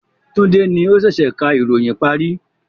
Tunde ni o sẹ̀sẹ̀ ká ìròyìn parí